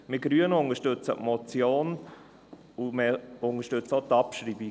Wir Grünen unterstützen die Motion sowie auch deren Abschreibung.